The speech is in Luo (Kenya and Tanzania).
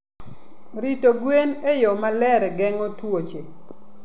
Rito gwen e yo maler geng'o tuoche.